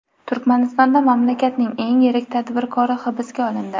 Turkmanistonda mamlakatning eng yirik tadbirkori hibsga olindi.